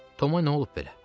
Toma nə olub belə?